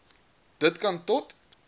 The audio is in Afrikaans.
dit kan tot